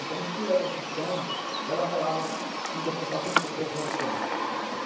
Então, em cima da profissão, ela falava, ela queria que a pessoa falasse um pouco da profissão.